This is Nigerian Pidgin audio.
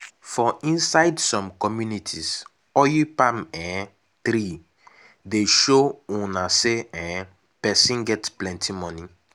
for inside som communities oil palm um tree dey show una say um person get plenti money.